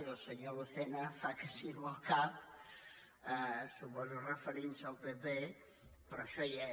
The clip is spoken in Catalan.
i el senyor lucena fa que sí amb el cap suposo que referint se al pp però això hi és